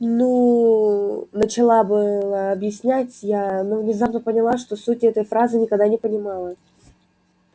ну начала было объяснять я но внезапно поняла что сути этой фразы никогда не понимала